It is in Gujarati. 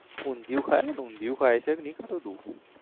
ઊંધીયું ખાય ઊંધીયું ખાય છે કે નઈ ખાતો તું?